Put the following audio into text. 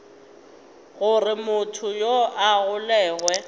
gore motho yoo a golegwe